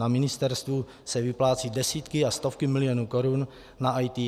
Na ministerstvu se vyplácí desítky a stovky milionů korun na IT.